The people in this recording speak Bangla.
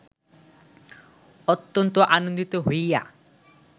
অত্যন্ত আনন্দিত হইয়া